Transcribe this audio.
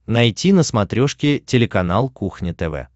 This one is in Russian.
найти на смотрешке телеканал кухня тв